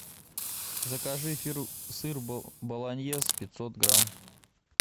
закажи сыр болоньез пятьсот грамм